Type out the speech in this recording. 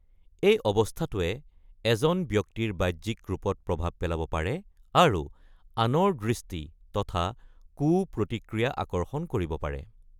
এই অৱস্থাটোৱে এজন ব্যক্তিৰ বাহ্যিক ৰূপত প্ৰভাৱ পেলাব পাৰে আৰু আনৰ দৃষ্টি তথা কু-প্ৰতিক্ৰিয়া আকৰ্ষণ কৰিব পাৰে।